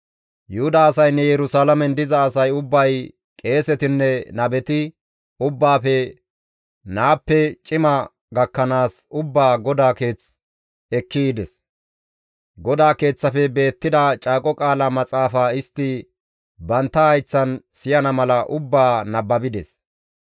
Yuhuda asaynne Yerusalaamen diza asay ubbay qeesetinne nabeti ubbaafe naappe cima gakkanaas ubbaa GODAA Keeth ekki yides; GODAA Keeththafe beettida caaqo qaala maxaafa istti bantta hayththan siyana mala ubbaa nababides.